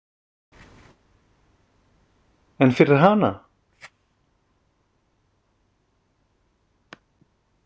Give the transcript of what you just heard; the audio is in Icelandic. En fyrir hana?